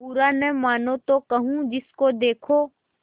बुरा न मानों तो कहूँ जिसको देखो